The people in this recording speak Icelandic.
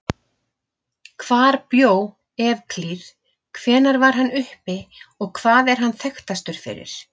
Hvar bjó Evklíð, hvenær var hann uppi og hvað er hann þekktastur fyrir?